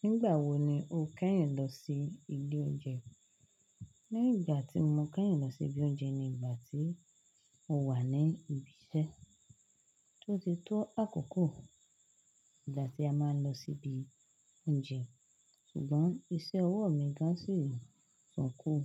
Nígbà wo ni o kẹ́yìn lọ sí ilé oúnjẹ? Ní ìgbà tí mo kẹ́yìn lọ sí ibi oúnjẹ ni ìgbà tí mo wà ní ibi iṣẹ́. Tó ti tó àkókò ìgbà tí a máa ń lọ sí ibi oúnjẹ. Ṣùgbọ́n iṣẹ́ ọwọ́ mi gán si san kún.